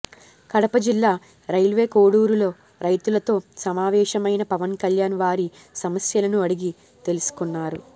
కడప జిల్లా రైల్వేకోడూరులో రైతులతో సమావేశమైన పవన్ కల్యాణ్ వారి సమస్యలను అడిగి తెలుసుకున్నారు